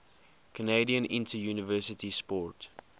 canadian interuniversity sport